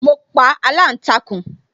Mo pa aláǹtakùn